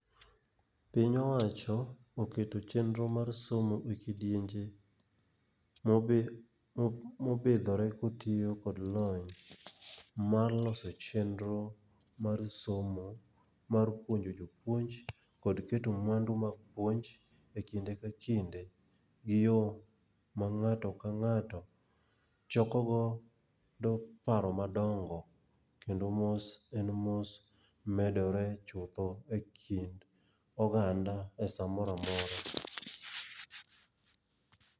Piny owacho oketo chenro mar somo i kidienje mopidhore kotiyo kod lony mar loso chenro mar somo mar puonjo jopuonj kod keto mwandu mag puonj e kinde ka kinde gi yo ma ng'ato ka ng'ato choko godo paro madongo kendo mos en mos, medore chutho e kind oganda e sa mora mora.